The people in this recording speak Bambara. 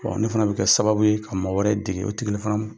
ne fana bɛ kɛ sababu ye ka mɔgɔ wɛrɛ dege o tigi